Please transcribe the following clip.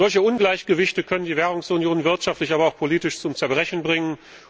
Solche Ungleichgewichte können die Währungsunion wirtschaftlich, aber auch politisch zum Zerbrechen bringen.